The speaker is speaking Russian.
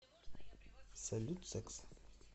салют секс